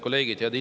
Head kolleegid!